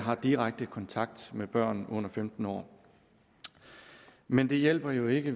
har direkte kontakt med børn under femten år men det hjælper jo ikke